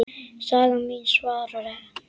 Sagan mín, svarar hann.